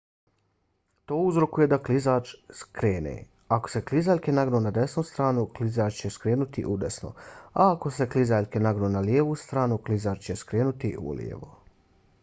to uzrokuje da klizač skrene. ako se klizaljke nagnu na desnu stranu klizač će skrenuti udesno a ako se klizaljke nagnu na lijevu stranu klizač će skrenuti ulijevo